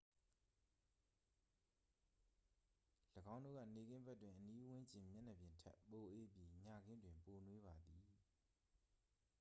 """၎င်းတို့က နေ့ခင်းဘက်တွင် အနီးဝန်းကျင် မျက်နှာပြင်ထက် ပိုအေးပြီး ညခင်းတွင် ပိုနွေးပါသည်။